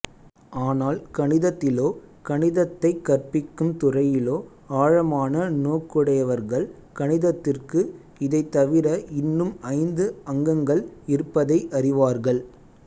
ஆனால் கணிதத்திலோ கணிதத்தைக் கற்பிக்கும் துறையிலோ ஆழமான நோக்குடையவர்கள் கணிதத்திற்கு இதைத்தவிர இன்னும் ஐந்து அங்கங்கள் இருப்பதை அறிவார்கள்